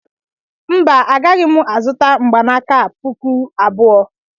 Mba agaghị mụ azụta mgbanaka a pụkụ abụọ.